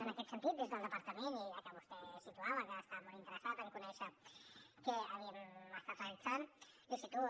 en aquest sentit des del departament i ja que vostè situava que estava molt interessat en conèixer què havíem estat realitzant l’hi situo